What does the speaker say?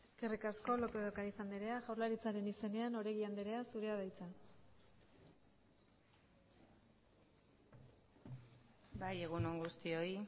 eskerrik asko lópez de ocariz andrea jaurlaritzaren izenean oregi andrea zurea da hitza bai egun on guztioi